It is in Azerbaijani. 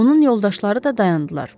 Onun yoldaşları da dayandılar.